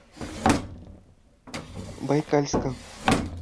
байкальска